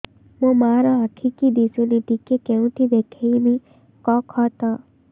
ମୋ ମା ର ଆଖି କି ଦିସୁନି ଟିକେ କେଉଁଠି ଦେଖେଇମି କଖତ